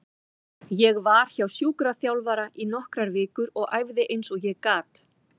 Ég var hjá sjúkraþjálfara í nokkrar vikur og æfði eins og ég gat.